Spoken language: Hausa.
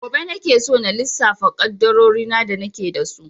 Gobe nake so na lissafa ƙaddarorin da nake da su.